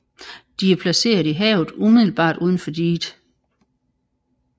De er placeret i havet umiddelbart unden for diget